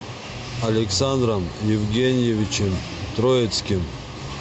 александром евгеньевичем троицким